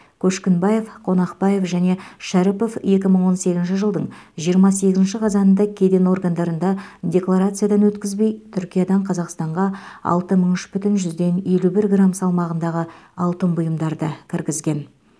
көшкінбаев қонақбаев және шәріпов екі мың он сегізінші жылдың жиырма сегізінші қазанында кеден органдарында декаларациядан өткізбей түркиядан қазақстанға алты мың үш бүтін жүзден елу бір грамм салмағындағы алтын бұйымдарды кіргізген